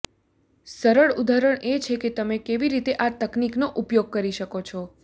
સરળ ઉદાહરણ એ છે કે તમે કેવી રીતે આ તકનીકનો ઉપયોગ કરી શકો છો